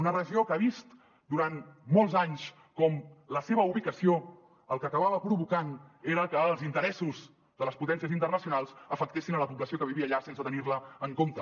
una regió que ha vist durant molts anys com la seva ubicació el que acabava provocant era que els interessos de les potències internacionals afectessin la població que vivia allà sense tenir la en compte